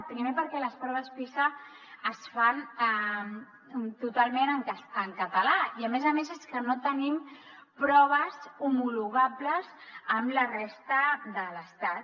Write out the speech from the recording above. primer perquè les proves pisa es fan totalment en català i a més a més és que no tenim proves homologables amb la resta de l’estat